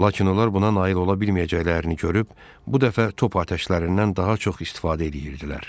Lakin onlar buna nail ola bilməyəcəklərini görüb, bu dəfə top atəşlərindən daha çox istifadə edirdilər.